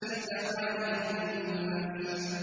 الْجَوَارِ الْكُنَّسِ